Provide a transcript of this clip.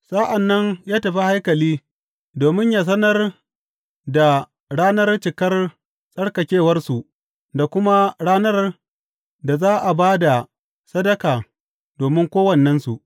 Sa’an nan ya tafi haikali domin yă sanar da ranar cikar tsarkakewarsu da kuma ranar da za a ba da sadaka domin kowannensu.